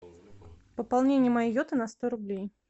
пополнение моей йоты на сто рублей